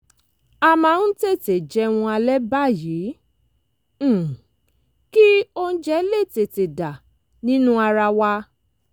a máa ń tètè jẹun alẹ́ báyìí um kí oúnjẹ lè tètè dà nínú ara wa